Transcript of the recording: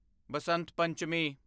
Basant Panchami